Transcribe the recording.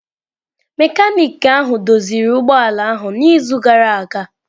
Mekaniki ahụ doziri ụgbọ ala ahụ n'izu gara aga.